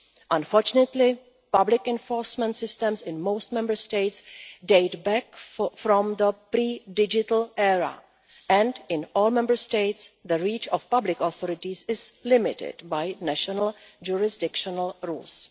Unfortunately public enforcement systems in most Member States date back to the pre-digital era, and in all Member States the reach of public authorities is limited by national jurisdictional rules.